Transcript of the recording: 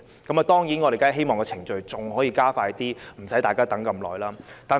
我們當然希望程序可以加快一點，不用大家等這麼久。